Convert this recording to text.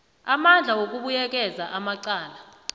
amandla wokubuyekeza amacala